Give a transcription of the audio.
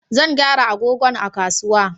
Zan gyara agogon a kasuwa